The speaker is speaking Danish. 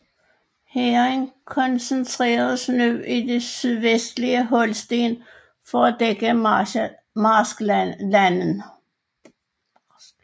Hæren koncentreredes nu i det sydvestlige Holsten for at dække marsklandene